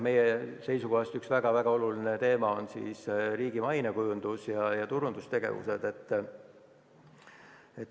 Meie seisukohast üks väga oluline teema on riigi mainekujundus ja turundustegevused.